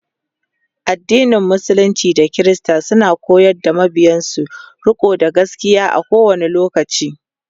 addinin musulunci da kirista suna koyar da mabiyansu rikonda gaskia a kowani lokaci